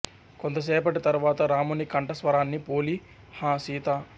కొంతసేపటి తరవాత రాముని కంఠ స్వరాన్ని పోలి హా సీతా